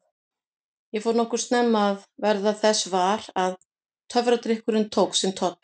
Ég fór nokkuð snemma að verða þess var að töfradrykkurinn tók sinn toll.